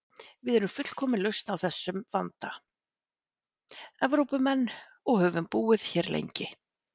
Við erum fullkomin lausn á þessum vanda: Evrópumenn, og höfum búið hér lengi.